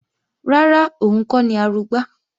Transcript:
Rárá, òun kọ́ ni Arugbá